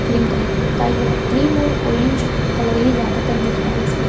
cream colour की पुताई है क्रीम और ऑरेंज कलर ही ज्यादातर दिख रहा है इसमें --